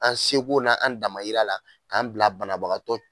An seko n'an damayira la k'an bila banabagatɔ